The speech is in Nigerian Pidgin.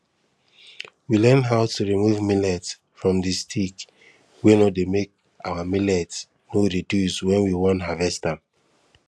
we learn how to remove millet from the stick wey no dey make our millet no reduce when we won harvest am